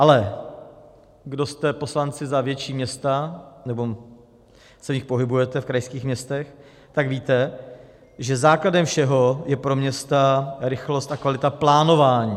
Ale kdo jste poslanci za větší města nebo se v nich pohybujete, v krajských městech, tak víte, že základem všeho je pro města rychlost a kvalita plánování.